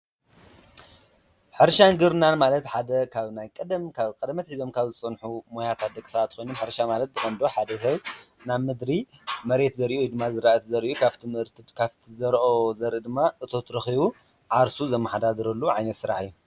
ሕርሻን ግብርናን ማለት ሓደ ካብ ናይ ቀደም ካብ ቀደመ ኣትሒዘም ካብ ዝፀንሑ ሞያታት ደቂ ሰባት ኾይኖም ሕርሻ ማለት ወዲ ሰብ ሓደ ሀል ናብ ምድሪ መሬት ዘርኡ ወይ ድማ ዘርኢ ዘሪኡ ካፍቲ ምህርቲ ካፍቲ ዘሪኡ ዝረኸቦ ድማ እቶት ረኸቡ ዓርሱ ዘመሓዳድረሉ ዓይነት ስራሕ እዩ፡፡